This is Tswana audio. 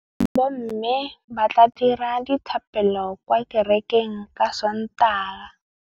Bommê ba tla dira dithapêlô kwa kerekeng ka Sontaga.